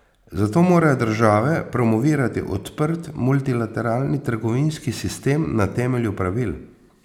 Zato morajo države promovirati odprt multilateralni trgovinski sistem na temelju pravil.